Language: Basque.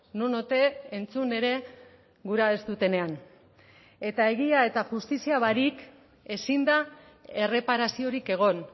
non ote entzun ere gura ez dutenean eta egia eta justizia barik ezin da erreparaziorik egon